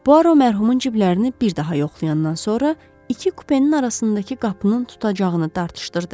Puaro mərhumun ciblərinə bir daha yoxlayandan sonra iki kupenin arasındakı qapının tutacağını dartışdırdı.